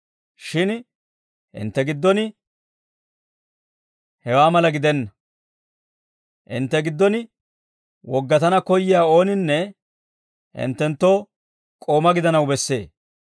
Shin hintte giddon hewaa mala gidenna; hintte giddon woggatana koyyiyaa ooninne hinttenttoo k'oomaa gidanaw bessee.